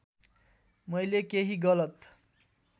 मैले केही गलत